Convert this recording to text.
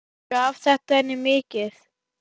Gaf þetta henni mikið.